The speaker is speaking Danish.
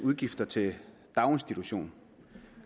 udgifter til daginstitution